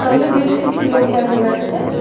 সামনে বেশ কিছু লোক দেখা যাচ্ছে-এ।